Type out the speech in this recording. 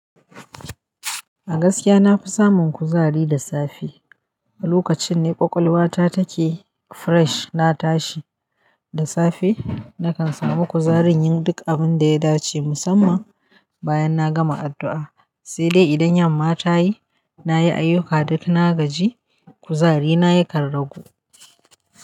A gaskiya na fi samun kuzari da safe. Lokacin ne ƙwaƙwalwata take fresh. Na tashi da safe nakan samu kuzarin yin duk abin da ya dace musamman bayan na gama addu'a. Sai dai idan yamma tayi nayi ayuka duk na gaji, kuzarina ya karragu.